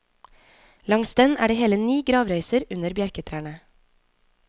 Langs den er det hele ni gravrøyser under bjerketrærne.